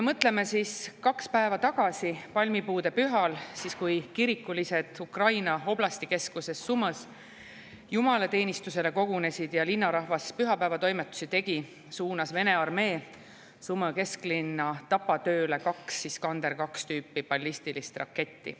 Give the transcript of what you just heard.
Mõtleme sellele, et kaks päeva tagasi, palmipuudepühal, siis kui kirikulised Ukraina oblastikeskuses Sumõs jumalateenistusele kogunesid ja linnarahvas pühapäevatoimetusi tegi, suunas Vene armee Sumõ kesklinna tapatööle kaks Iskander-tüüpi ballistilist raketti.